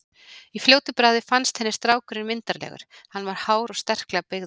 Í fljótu bragði fannst henni strákurinn myndarlegur, hann var hár og sterklega byggður.